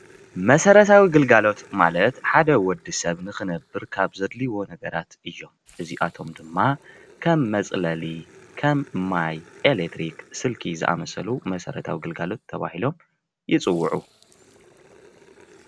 መሰረተዊ ግልጋሎት ማለት ሓደ ወዲ ሰብ ንኽነብር ካብ ዘድልይዎ ነገራት እዮም ፡፡ እዚኣቶም ድማ ከም መፅለሊ፣ ከም ማይ፣ ኤሌትሪክ፣ ስልኪ ዝኣምሰሉ መሰረታዊ ግልጋሎት ተባሂሎም ይፅዉዑ፡፡